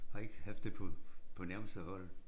Har ikke haft det på på nærmeste hold